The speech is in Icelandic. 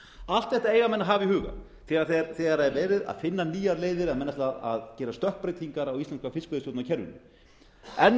allt þetta eiga menn að hafa í huga þegar er verið að finna nýjar leiðir ef menn ætla að gera stökkbreytingar á íslenska fiskveiðistjórnarkerfinu enn og